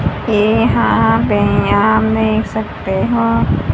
येहां व्यायाम में सकते हैं।